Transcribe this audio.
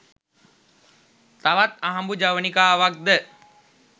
තවත් අහඹු ජවනිකාවක්ද